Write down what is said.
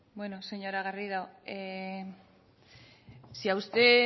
bueno señora garrido si a usted